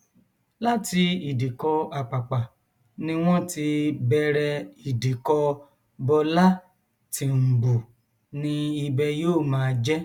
láti ìdìkọ àpàpà ni wọn ti bẹrẹ ìdìkọ bọlá tìǹbù ni ibẹ yóò máa jẹ